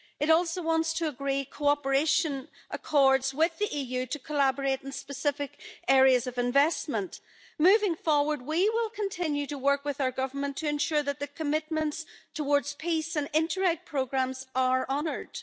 It also wants to agree cooperation accords with the EU to collaborate in specific areas of investment. Moving forward, we will continue to work with our government to ensure that the commitments towards peace and Interreg programmes are honoured.